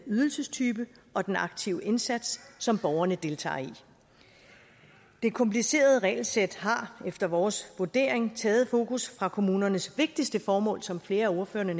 ydelsestype og den aktive indsats som borgerne deltager i det komplicerede regelsæt har efter vores vurdering taget fokus fra kommunernes vigtigste formål som flere af ordførerne